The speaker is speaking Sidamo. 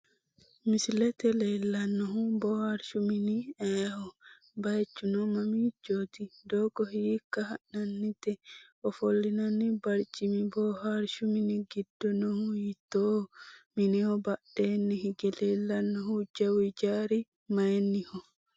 Misilete leellannohu boohaarshu mini ayeeho? Bayichuno mamiichooti? Doogo hiikka ha'nannite? Ofillinanni barcimi boohaarshu mini giddo noohu hiittooho? Mineho badheenni hige leellannohu jawu ijaari mayinniho?